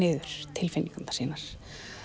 tilfinningar sínar